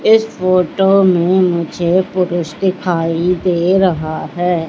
इस फोटो में मुझे पुरुष दिखाई दे रहा है।